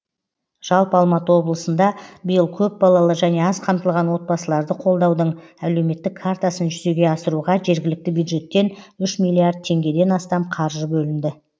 жалпы алматы облысында биыл көп балалы және аз қамтылған отбасыларды қолдаудың әлеуметтік картасын жүзеге асыруға жергілікті бюджеттен үш миллиард теғгеден астам қаржы бөлінді